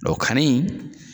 Dɔn ka ni